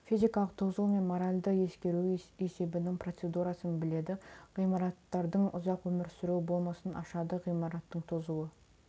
физикалық тозуы мен моральды ескіруі есебінің процедурасын біледі ғимараттардың ұзақ өмір сұру болмысын ашады ғимараттың тозуы